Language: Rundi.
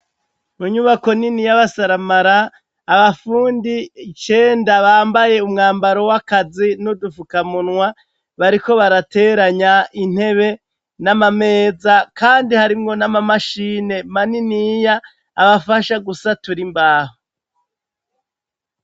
Mu nyubako nini y'abasaramara, abafundi icenda bambaye umwambaro w'akazi n'udufukamunwa, bariko barateranya intebe n'amameza kandi harimwo n'amamashine maniniya abafasha gusatura imbaho.